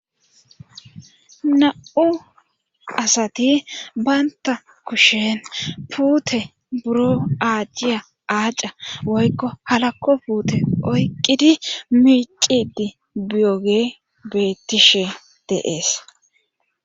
Na'u asati banta kushen puute buro aajjiya aaca woykko halakko puute oyqqidi miqidi biyoge beettishe deees.